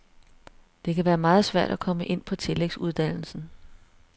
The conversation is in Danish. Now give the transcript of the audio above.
Det kan være meget svært at komme ind på tillægsuddannelsen.